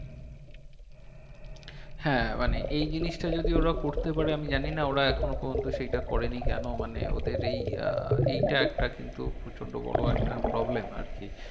হ্যাঁ মানে এই জিনিসটা যদি ওরা করতে পারে আমি জানি না ওরা এখনো পর্যন্ত সেইটা করেনি কেন মানে ওদের এই আহ এইটা একটা কিন্তু প্রচন্ড বড়ো একটা problem আর কি